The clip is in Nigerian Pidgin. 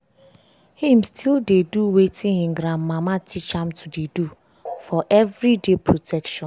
him still dey do watin him gran mama teach am to dey do for every day protection